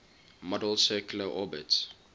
model's circular orbits